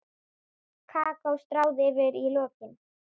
Kakó stráð yfir í lokin.